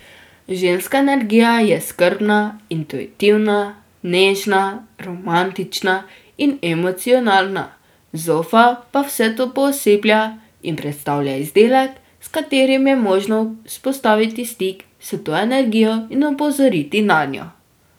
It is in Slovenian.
Ženska energija je skrbna, intuitivna, nežna, romantična in emocionalna, zofa pa vse to pooseblja in predstavlja izdelek, s katerim je možno vzpostaviti stik s to energijo in opozoriti nanjo.